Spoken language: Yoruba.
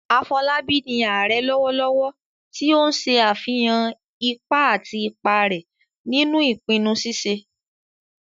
Afolabi ni "Ààrẹ " lọwọlọwọ, ti o n ṣe afihan ipa àti ipa rẹ̀ nínú ìpinnu ṣíṣe